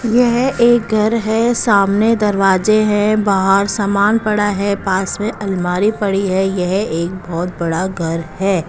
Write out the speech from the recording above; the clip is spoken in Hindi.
यह एक घर है सामने दरवाजे हैं बाहर सामान पड़ा है पास में अलमारी पड़ी है यह एक बहुत बड़ा घर है।